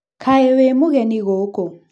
Kaĩ wĩ mũgeni gũkũ?